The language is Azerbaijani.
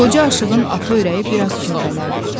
Qoca aşığın atı ürəyi bir az kövrəldirdi.